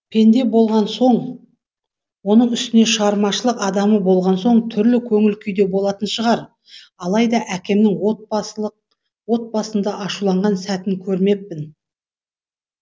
пенде болған соң оның үстіне шығармашылық адамы болған соң түрлі көңіл күйде болатын шығар алайда әкемнің отбасында ашуланған сәтін көрмеппін